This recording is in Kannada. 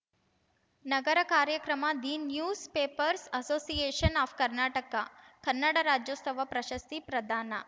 ನಗರ ಕಾರ್ಯಕ್ರಮ the newspapers association of Karnataka Kannada Rajyotsava ಪ್ರಶಸ್ತಿ ಪ್ರದಾನ